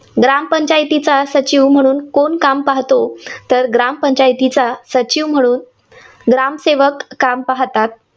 ग्रामपंचायतीचा सचिव म्हणून कोण काम पाहातो? तर ग्रामपंचायतीचा सचिव म्हणून ग्रामसेवक काम पाहतात.